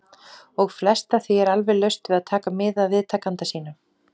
. og flest af því er alveg laust við að taka mið af viðtakanda sínum.